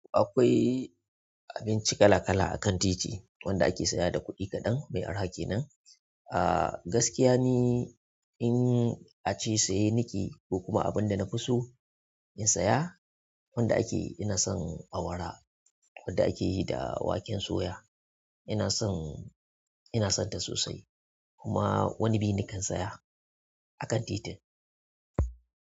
Akwai abinci kala kala akan titi wanda ake saya da kuɗi kaɗan mai arha kenan. Ah gaskiya ni in ace saye nake ko kuma abin da na fi so in saya wanda ake ina son awara wanda ake yi da waken suya. Ina san ina santa sosai kuma wani bi nakan saya akan titin.